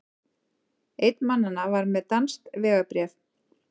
Einn mannanna var með danskt vegabréf